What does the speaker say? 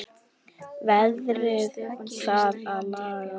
Veðrið þarf að laga.